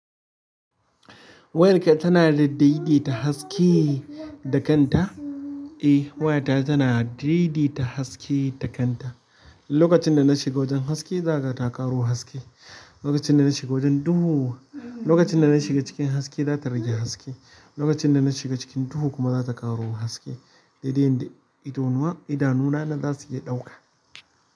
Wayarka tana daidaita haske da kanta? Eh, wayata tana daidaita haske da kanta. Lokacin da na shiga wajen haske, za ka ga ta ƙaro haske. Lokacin da na shiga wajen duhu. Lokacin da na shiga cikin haske, za ta rage haske. Lokacin da na shiga cikin duhu kuma za ta ƙaro haske. Daidai yanda idona idanu na nan za su iya ɗauka.